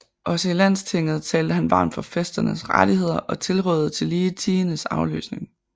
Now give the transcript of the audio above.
Også i Landstinget talte han varmt for fæsternes rettigheder og tilraadede tillige tiendens afløsning